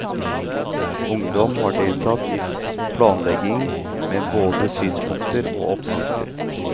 Ungdom har deltatt i planleggingen med både synspunkter og oppskrifter.